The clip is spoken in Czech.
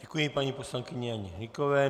Děkuji paní poslankyni Janě Hnykové.